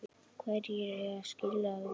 Hverjir eiga skilið að vinna?